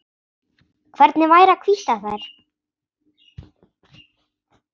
Hvernig væri að hvítta þær?